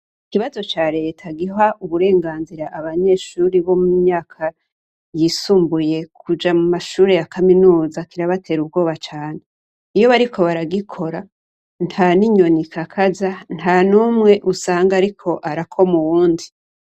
Ikibazo ca leta giga uburenganzira abanyeshuri bo mu myaka y'isumbuye kuja mu mashure ya kaminuza kirabatera ubwoba cane. Iyo bariko baragikora, nta n' inyoni ikakaza, nta numwe usanga ariko akoma uwundi.